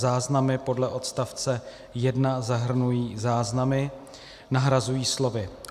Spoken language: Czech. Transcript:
"Záznamy podle odstavce 1 zahrnují záznamy" nahrazují slovy